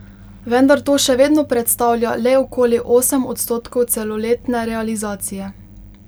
Vendar to še vedno predstavlja le okoli osem odstotkov celoletne realizacije.